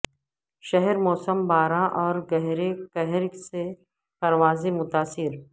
شہر میں موسم باراں اور گہرے کہرسے پروازیں متاثر